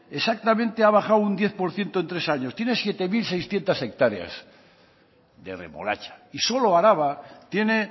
exactamente ha bajado un diez por ciento en tres años tiene siete mil seiscientos hectáreas de remolacha y solo araba tiene